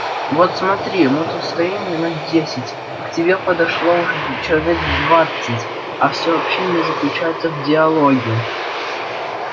вот смотри мы тут стоим минуть десять к тебе подошло уже человек двадцать а все общение заключается в диалоге